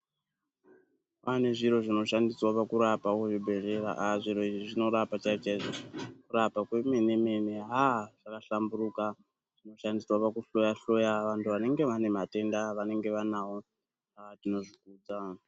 Pane zviro zvinoshandiswa pakurapa kuzvibhedhlera aa zviro izvi zvinorapa chaizvo-chaizvo kurapa kwemene-mene aa zvakahlamburuka. Zvinoshandiswa pakuhloya-hloya vantu vanenge vane matenda avanenge vanavo aa tinozvikudza.